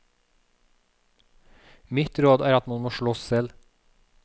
Mitt råd er at man må slåss selv.